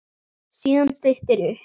Síðan styttir upp.